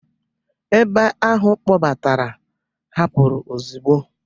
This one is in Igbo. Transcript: ebe ahụ kpọbatara hapụrụ ozugbo